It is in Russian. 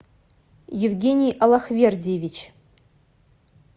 евгений аллахвердиевич